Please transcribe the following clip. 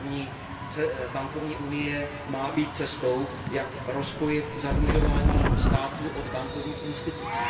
Bankovní unie má být cestou, jak oddělit zadlužování států od bankovních institucí.